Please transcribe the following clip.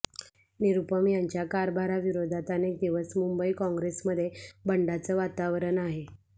निरुपम यांच्या कारभाराविरोधात अनेक दिवस मुंबई काँग्रेसमध्ये बंडाचं वातावरण आहे